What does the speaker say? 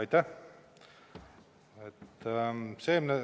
Aitäh!